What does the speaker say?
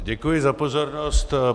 Děkuji za pozornost.